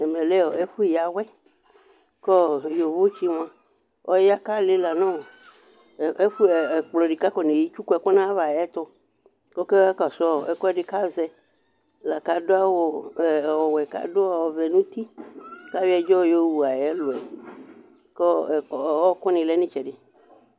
Ɛvɛ lɛ ɛfu yawuɛ Ku yovotsi fo mua alila nu ɛkplɔ di buaku afɔ netsuku ɛku nayava nayɛtu kɔka kɔsu ɛkuɛdi akua du awu vɛ nɛku wɛ nuti kua yɔ ɛdzɔ yowu ayɛlu kɔwɔku ni lɛ ni itsɛdi